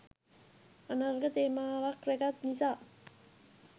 අනර්ග තේමාවක් රැගත් නිසා